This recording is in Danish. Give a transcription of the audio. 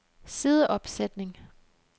sideopsætning